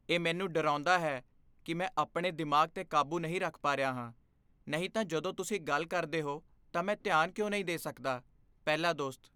ਇਹ ਮੈਨੂੰ ਡਰਾਉਂਦਾ ਹੈ ਕੀ ਮੈਂ ਆਪਣੇ ਦਿਮਾਗ਼ 'ਤੇ ਕਾਬੂ ਨਹੀਂ ਰੱਖ ਪਾ ਰਿਹਾ ਹਾਂ, ਨਹੀਂ ਤਾਂ ਜਦੋਂ ਤੁਸੀਂ ਗੱਲ ਕਰਦੇ ਹੋ ਤਾਂ ਮੈਂ ਧਿਆਨ ਕਿਉਂ ਨਹੀਂ ਦੇ ਸਕਦਾ? ਪਹਿਲਾ ਦੋਸਤ